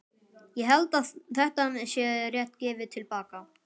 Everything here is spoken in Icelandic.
Ég held að þetta sé rétt gefið til baka.